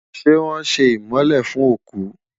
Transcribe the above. ṣé wón sé imole fún oku?